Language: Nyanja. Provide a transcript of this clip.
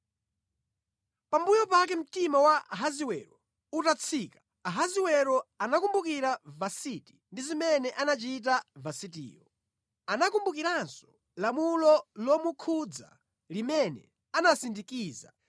Pambuyo pake mtima wa Ahasiwero utatsika, Ahasiwero anakumbukira Vasiti ndi zimene anachita Vasitiyo. Anakumbukiranso lamulo lomukhudza limene anasindikiza.